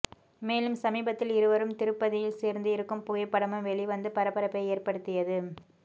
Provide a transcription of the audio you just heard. மேலும் சமீபத்தில் இருவரும் திருப்பதியில் சேர்ந்து இருக்கும் புகைப்படமும் வெளிவந்து பரபரப்பை ஏற்படுத்தியது